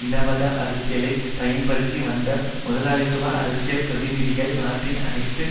னவாத அரசியலை பயன்படுத்தி வந்த முதலாளித்துவ அரசியல் பிரதிநிதிகள் நாட்டின் அனைத்து